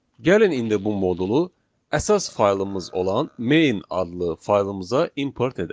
Gəlin indi bu modulu əsas faylımız olan Main adlı faylımıza import edək.